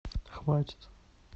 хватит